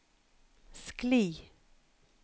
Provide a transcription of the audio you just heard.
skli